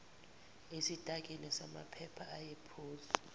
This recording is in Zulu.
esitakini samaphepha ayephezu